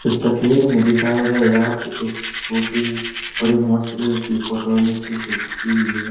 इस तस्वीर में दिखाए गए यहां पे एक स्कूटी और एक मोटरसाइकिल की फोटो नीचे से खींची गई है।